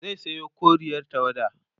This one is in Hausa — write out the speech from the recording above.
zai Sayo koriyar tawada